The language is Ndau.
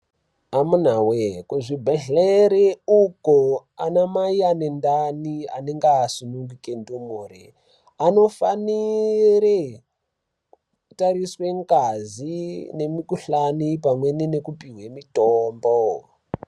Amunawee kuzvibhedhlere uko anamai anendani anenge asununguke ndumure anofanire kutariswe ngazi , mukhuhlani pamwe nekupuwa mutombo